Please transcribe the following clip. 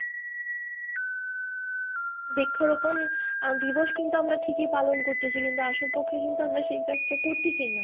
বৃক্ষরোপণ দিবস কিন্তু আমরা ঠিকই পালন করতেছি কিন্তু আসল পক্ষে আমরা সেই কাজটা করতেছি না।